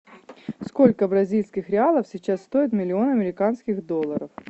сколько бразильских реалов сейчас стоит миллион американских долларов